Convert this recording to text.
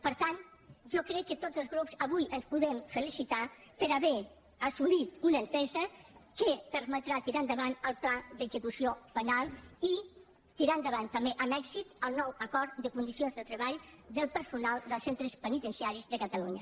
per tant jo crec que tots els grups avui ens podem felicitar per haver assolit una entesa que permetrà tirar endavant el pla d’execució penal i tirar endavant també amb èxit el nou acord de condicions de treball del personal dels centres penitenciaris de catalunya